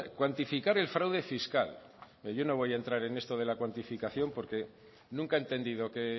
cuantificar el fraude fiscal mire yo no voy a entrar en esto de cuantificación porque nunca he entendido que